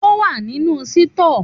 Òwá ninu Sítọ.